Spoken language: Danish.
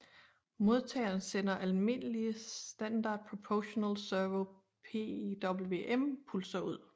Modtageren sender almindelige standard proportional servo PWM pulser ud